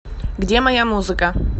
где моя музыка